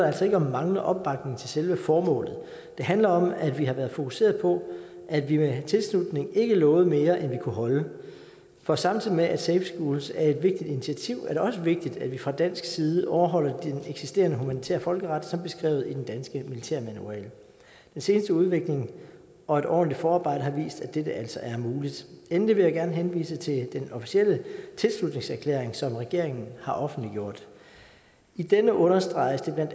altså ikke om manglende opbakning til selve formålet det handler om at vi har været fokuseret på at vi ved en tilslutning ikke lovede mere end vi kunne holde for samtidig med at safe schools er et vigtigt initiativ er det også vigtigt at vi fra dansk side overholder den eksisterende humanitære folkeret som beskrevet i den danske militærmanual den seneste udvikling og et ordentligt forarbejde har vist at dette altså er muligt endelig vil jeg gerne henvise til den officielle tilslutningserklæring som regeringen har offentliggjort i denne understreges det bla